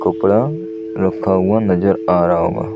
कपड़ा रखा हुआ नज़र आ रहा होगा --